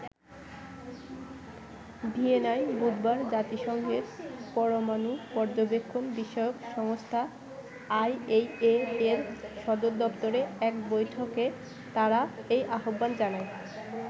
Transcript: ভিয়েনায় বুধবার জাতিসংঘের পরমানু পর্যবেক্ষণ বিষয়ক সংস্থা আইএইএ -এর সদরদপ্তরে এক বৈঠকে তারা এই আহ্বান জানায়।